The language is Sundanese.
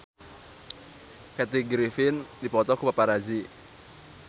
Kathy Griffin dipoto ku paparazi